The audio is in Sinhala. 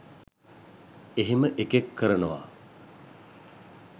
එහෙම එකෙක් කරනවා